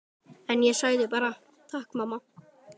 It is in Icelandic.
En ég sagði bara: Takk mamma.